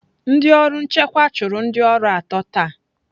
Ndị ọrụ nchịkwa chụrụ ndị ọrụ atọ taa.